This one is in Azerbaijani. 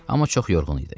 Amma çox yorğun idi.